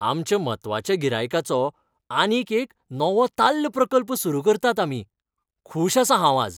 आमच्या म्हत्वाच्या गिरायकाचो आनीक एक नवोताल्ल प्रकल्प सुरू करतात आमी. खूश आसा हांव आज.